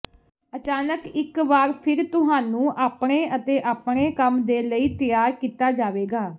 ਅਚਾਨਕ ਇਕ ਵਾਰ ਫਿਰ ਤੁਹਾਨੂੰ ਆਪਣੇ ਅਤੇ ਆਪਣੇ ਕੰਮ ਦੇ ਲਈ ਤਿਆਰ ਕੀਤਾ ਜਾਵੇਗਾ